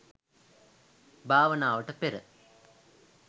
භාවනාවට පෙර